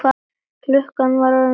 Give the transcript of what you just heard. Klukkan var orðin fjögur.